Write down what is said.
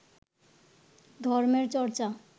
ধর্মের চর্চা